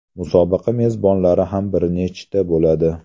Musobaqa mezbonlari ham bir nechta bo‘ladi.